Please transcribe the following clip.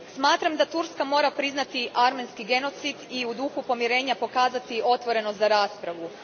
Smatram da Turska mora priznati armenski genocid i u duhu pomirenja pokazati otvorenost za raspravu.